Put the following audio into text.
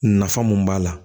Nafa mun b'a la